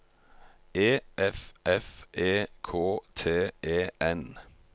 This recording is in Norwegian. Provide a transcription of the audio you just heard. E F F E K T E N